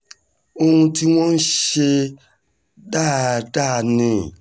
ohun tí wọ́n ń ṣe dáadáa ni